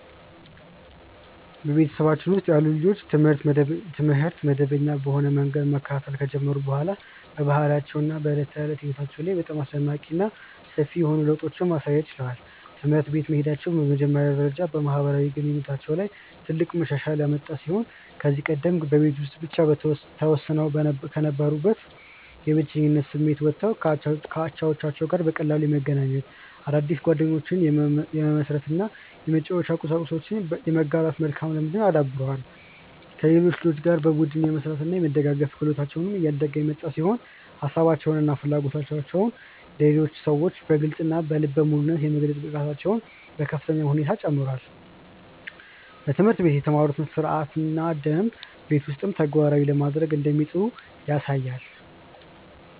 በቤተሰባችን ውስጥ ያሉ ልጆች ትምህርት መደበኛ በሆነ መንገድ መከታተል ከጀመሩ በኋላ በባህሪያቸው እና በዕለት ተዕለት ሕይወታቸው ላይ በጣም አስደናቂ እና ሰፊ የሆኑ ለውጦችን ማሳየት ችለዋል። ትምህርት ቤት መሄዳቸው በመጀመሪያ ደረጃ በማህበራዊ ግንኙነታቸው ላይ ትልቅ መሻሻል ያመጣ ሲሆን ከዚህ ቀደም በቤት ውስጥ ብቻ ተወስነው ከነበሩበት የብቸኝነት ስሜት ወጥተው ከአቻዎቻቸው ጋር በቀላሉ የመገናኘት፣ አዳዲስ ጓደኞችን የመመስረት እና የመጫወቻ ቁሳቁሶችን የመጋራት መልካም ልምድን አዳብረዋል። ከሌሎች ልጆች ጋር በቡድን የመስራት እና የመደጋገፍ ክህሎታቸው እያደገ የመጣ ሲሆን ሀሳባቸውን እና ፍላጎቶቻቸውን ለሌሎች ሰዎች በግልፅ እና በልበ ሙሉነት የመግለጽ ብቃታቸውም በከፍተኛ ሁኔታ ጨምሯል። በትምህርት ቤት የተማሩትን ሥርዓትና ደንብ ቤት ውስጥም ተግባራዊ ለማድረግ እንደሚጥሩ ያሳያል።